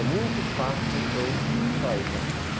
É muito fácil eu me distrair com as coisas.